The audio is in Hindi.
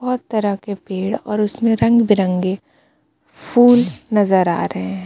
बहोत तरह के पेड़ और उसमें रंग-बिरंगे फूल नजर आ रहे हैं.